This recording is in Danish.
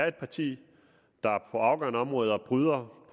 et parti der på afgørende områder bryder